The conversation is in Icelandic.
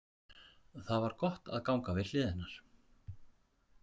Það var gott að ganga við hlið hennar.